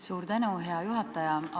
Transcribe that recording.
Suur tänu, hea juhataja!